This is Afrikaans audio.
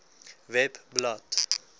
webblad